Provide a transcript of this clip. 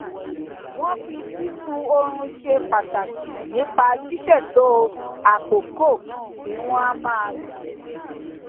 wón fi sísun orun ṣe pàtàkì nípa ṣíṣètò àkókò tí wón á máa sùn